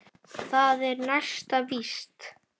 Það er næsta víst.